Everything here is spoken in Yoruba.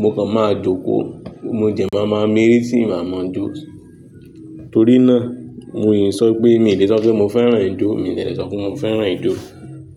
mo kàn máa jókòó, mo dẹ máa máa mìírì tí màá ma jo. Torí náà mo yìń sọ pé mí ò lè sọ pé mo fẹ́ràn ijó, mi i dè lẹ sọ pé mo fẹ́ràn ijó.